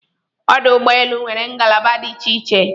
Ọdụ ụgbọ elu nwere ngalaba dị iche iche